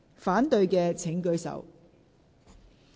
反對的請舉手。